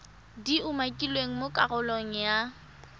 di umakilweng mo karolong ya